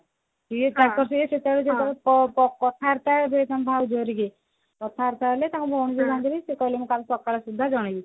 ସିଏ ତାଙ୍କ ସିଏ ସେତେବେଳେ ତାଙ୍କର ପ ପ କଥାବାର୍ତା ହେଲା ଏବେ ଯୋଉ ଭାଉଜ ରୁହେ କଥାବାର୍ତା ହେଲେ ସେ କହିଲେ ମୁଁ କାଲି ସକାଳ ସୁଦ୍ଧା ଜଣେଇବି